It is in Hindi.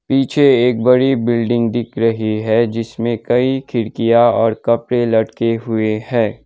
पीछे एक बड़ी बिल्डिंग दिख रही है जिसमें कई खिड़कियां और कपड़े लटके हुए है।